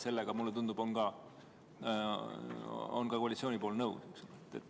Sellega, mulle tundub, on ka koalitsioon nõus.